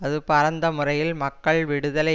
அது பரந்த முறையில் மக்கள் விடுதலை